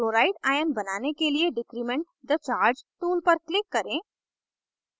chloride ion बनाने के लिए decrement the charge tool पर click करें